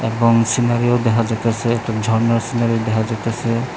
এবং সিনারিও দেখা যাইতাছে একটা ঝরনার সিনারিও দেখা যাইতাছে।